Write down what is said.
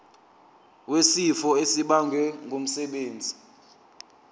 wesifo esibagwe ngumsebenzi